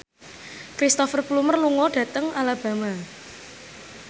Cristhoper Plumer lunga dhateng Alabama